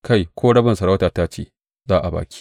Kai, ko rabin masarautata ce, za a ba ki.